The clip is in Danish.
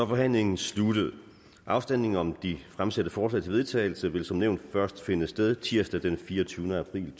forhandlingen sluttet afstemning om de fremsatte forslag til vedtagelse vil som nævnt først finde sted tirsdag den fireogtyvende april